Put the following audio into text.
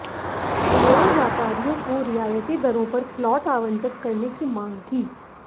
उन्होंने व्यापारियों को रियायती दरों पर प्लाट आवंटित करने की मांग की